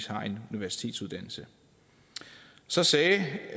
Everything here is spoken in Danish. har en universitetsuddannelse så sagde